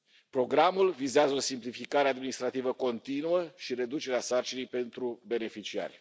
Programul vizează simplificarea administrativă continuă și reducerea sarcinii pentru beneficiari.